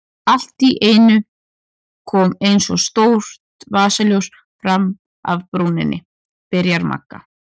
Allt í einu kom eins og stórt vasaljós fram af brúninni, byrjar Magga.